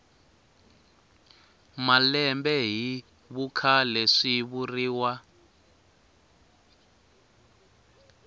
malembe hi vukhale swi vuriwa